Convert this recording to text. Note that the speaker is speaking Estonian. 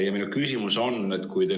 Ja minu küsimus on järgmine.